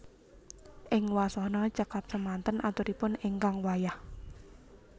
Ing wasana cekap semanten aturipun ingkang wayah